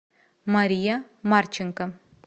мария марченко